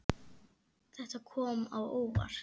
Þetta kom á óvart.